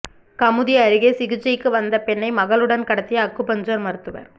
கமுதி அருகே சிகிச்சைக்கு வந்த பெண்ணை மகளுடன் கடத்திய அக்குபஞ்சர் மருத்துவர்